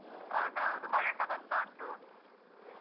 ಅದು ಹೌದು ಮಳೆಸ ಬರ್ತಾ ಉಂಟು ಹ್ಮ್.